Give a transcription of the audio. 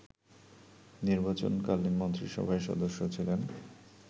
নির্বাচনকালীন মন্ত্রিসভার সদস্য ছিলেন